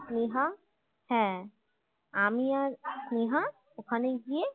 স্নেহা হ্যাঁ আমি আর স্নেহা ওখানে গিয়ে